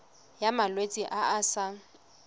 ya malwetse a a sa